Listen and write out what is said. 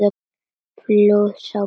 Fljóð sá ekki barnar.